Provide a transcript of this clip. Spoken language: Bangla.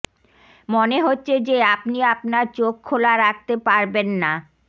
মনে হচ্ছে যে আপনি আপনার চোখ খোলা রাখতে পারবেন না